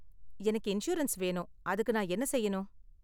எனக்கு இன்சூரன்ஸ் வேணும், அதுக்கு நான் என்ன செய்யணும்?